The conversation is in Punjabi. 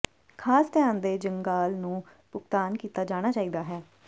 ਖਾਸ ਧਿਆਨ ਦੇ ਜੰਗਾਲ ਨੂੰ ਭੁਗਤਾਨ ਕੀਤਾ ਜਾਣਾ ਚਾਹੀਦਾ ਹੈ